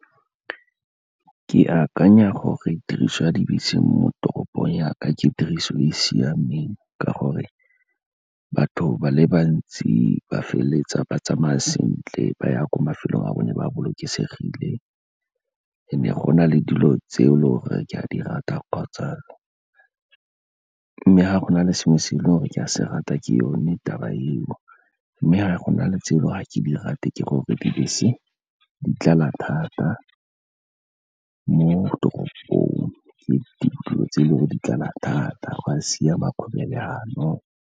Ke akanya gore tiriso ya dibese mo toropong yaka ke tiriso e e siameng, ka gore batho ba le bantsi ba feleletsa ba tsamaya sentle, ba ya ko mafelong a bona ba bolokesegile. And-e go na le dilo tse loreng ke a di rata, mme ga go na le sengwe selo se ke se rata ke yone taba eo. Mme ga go na le tsela ga ke ke di rate ke gore dibese di tlala thata mo toropong, ke dilo tse le gore di tlala thata, ga go a siama .